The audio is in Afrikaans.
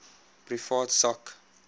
privaat sak